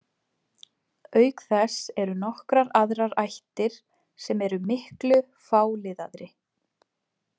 Auk þess eru nokkrar aðrar ættir sem eru miklu fáliðaðri.